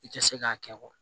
I tɛ se k'a kɛ